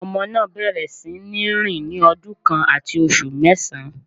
Ọmọ náà bẹ̀rẹ̀ sí ní rìn ní ọdún kan àti oṣù mẹ́sàn